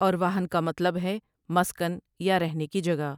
اور واہن کا مطلب ہے مسکن یا رہنے کی جگہ ۔